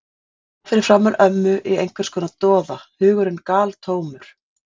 Hún lá fyrir framan ömmu í einhvers konar doða, hugurinn galtómur.